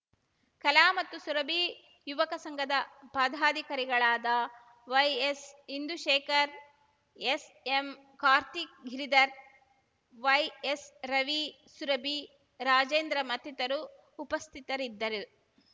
ಕಲಾ ಮತ್ತು ಸುರಭಿ ಯುವಕ ಸಂಘದ ಪದಾಧಿಕಾರಿಗಳಾದ Y S Indushekhar S M Karthik Giridhar Y S Ravi Surabhi Rajendra ಮತ್ತಿತರು ಉಪಸ್ಥಿತರಿದ್ದರು